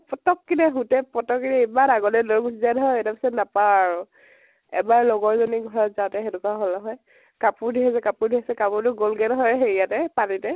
পতকে সুতে পতকে এমান আগলৈ লৈ গুছি যায় নহয় । তাৰ পিছত নাপাও আৰু । এবাৰ লগৰ জনিৰ ঘৰত যাওতে সেনেকুৱা হল নহয় । কাপোৰ ধুই আছে কাপোৰ ধুই আছে কাপোৰ তো গল গে নহয় হেৰিয়াতে, পানীতে